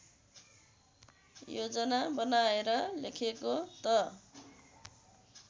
योजना बनाएर लेखेको त